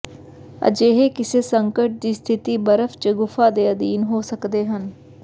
ਅਜਿਹੇ ਕਿਸੇ ਸੰਕਟ ਦੀ ਸਥਿਤੀ ਬਰਫ਼ ਜ ਗੁਫਾ ਦੇ ਅਧੀਨ ਹੋ ਸਕਦੇ ਹਨ